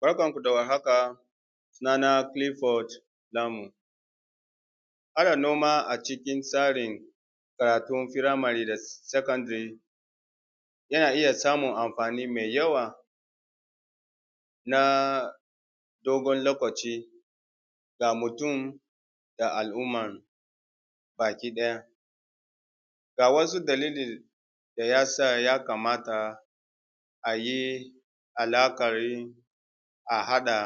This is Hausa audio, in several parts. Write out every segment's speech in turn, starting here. Barkan mu da warhaka sunanan Kilifod Naku saka noma a cikin tsarin karatun firamare da sakandare yana iya samun anfani mai yawa na dogon lokaci ga mutum ga al’umma bakiɗaya. Ga wasu dalili da ya sa ya kamata a yi alaƙar a haɗa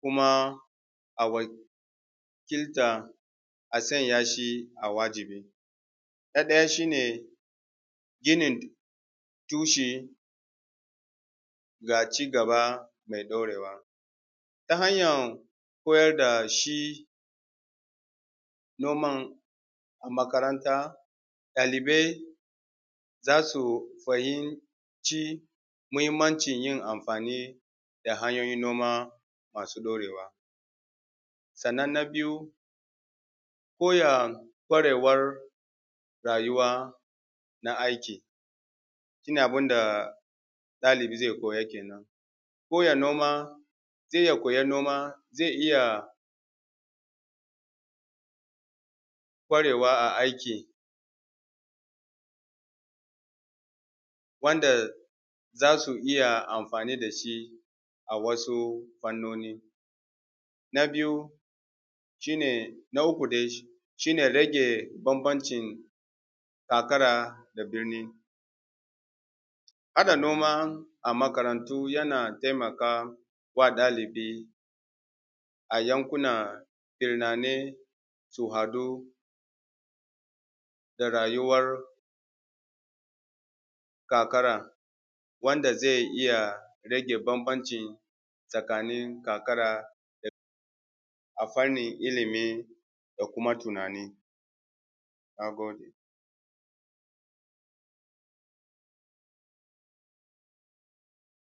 kuma a wakilta a sanya shi a wajibi na ɗaya shi ne ginin tushe ga cigaba me ɗorewa ta hanyan koyar da shi noman a makaranta, ɗalibai za su fahimci muhinmancin yin amfani da hanyoyin noma masu ɗorewa. Sannan na biyu koya kwarewar rayuwa na aiki, ni abun da ɗalibi ze koya kenan koya noma ze iya koyan noma ze iya kwarewa a aiki wanda za su iya amfani da shi a wasu fannoni na biyu shi ne na uku dai shi ne rage fanfancin karkara da birni, ana noma makarantu yana taimaka ma ɗalibi a yankunan birranai su haɗu da rayuwar karkara wanda ze iya rage fanfancin tsakanin karkara da a fannin ilimi da kuma tunani. Na gode.